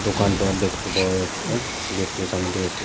দোকানপাট দেখতে পাওয়া যাচ্ছে গেট -টির সামনে দিকে একটি--